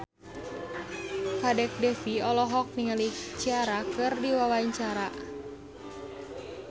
Kadek Devi olohok ningali Ciara keur diwawancara